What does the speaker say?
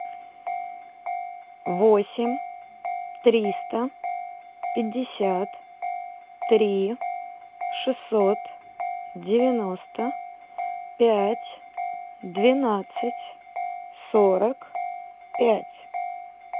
восемь триста пятьдесят три шестьсот девяносто пять двенадцать сорок пять